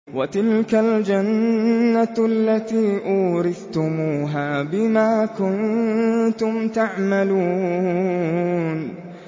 وَتِلْكَ الْجَنَّةُ الَّتِي أُورِثْتُمُوهَا بِمَا كُنتُمْ تَعْمَلُونَ